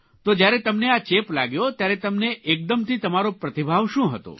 તો જયારે તમને આ ચેપ લાગ્યો ત્યારે તમને એકદમથી તમારો પ્રતિભાવ શું હતો